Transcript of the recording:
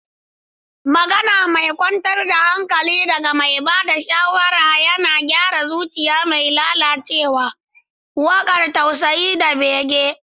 Magana mai kwantar da hankali daga mai ba da shawara yana gyara zuciya mai lalacewa, waƙar tausayi da bege.